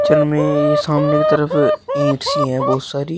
चल में ये सामने की तरफ ईंट सी हैं बहुत सारी।